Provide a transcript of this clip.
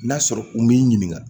N'a sɔrɔ u m'i ɲininka